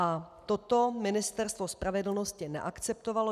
A toto Ministerstvo spravedlnosti neakceptovalo.